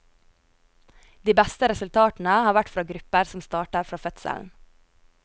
De beste resultatene har vært fra grupper som starter før fødselen.